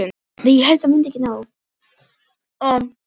Gerlar sem framleiða vítamínið eru ekki til staðar í nýfæddum börnum.